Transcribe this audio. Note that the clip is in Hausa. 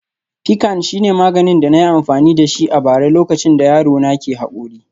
Piccan shine maganin da na yi amfani da shi a bara lokacin da yaro na ke haƙori